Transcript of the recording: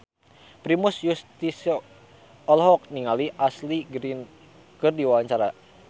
Primus Yustisio olohok ningali Ashley Greene keur diwawancara